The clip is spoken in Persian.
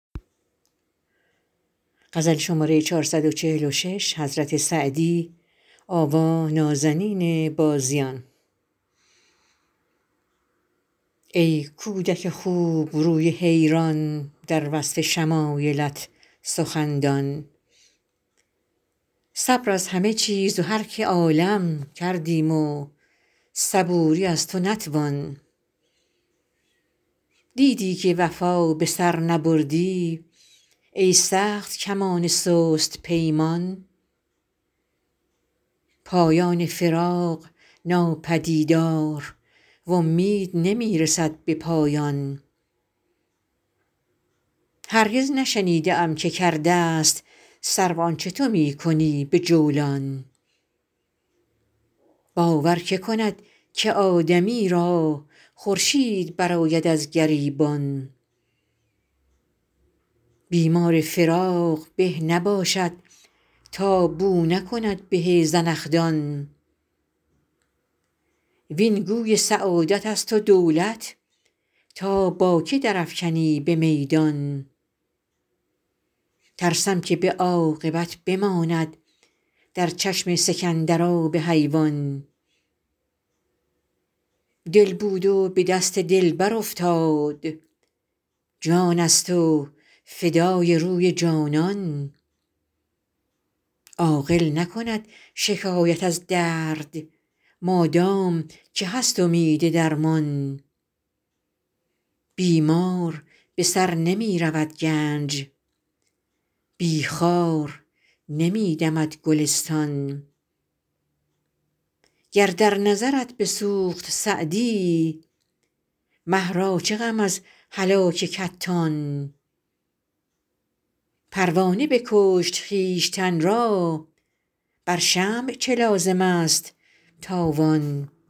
ای کودک خوبروی حیران در وصف شمایلت سخندان صبر از همه چیز و هر که عالم کردیم و صبوری از تو نتوان دیدی که وفا به سر نبردی ای سخت کمان سست پیمان پایان فراق ناپدیدار و امید نمی رسد به پایان هرگز نشنیده ام که کرده ست سرو آنچه تو می کنی به جولان باور که کند که آدمی را خورشید برآید از گریبان بیمار فراق به نباشد تا بو نکند به زنخدان وین گوی سعادت است و دولت تا با که در افکنی به میدان ترسم که به عاقبت بماند در چشم سکندر آب حیوان دل بود و به دست دلبر افتاد جان است و فدای روی جانان عاقل نکند شکایت از درد مادام که هست امید درمان بی مار به سر نمی رود گنج بی خار نمی دمد گلستان گر در نظرت بسوخت سعدی مه را چه غم از هلاک کتان پروانه بکشت خویشتن را بر شمع چه لازم است تاوان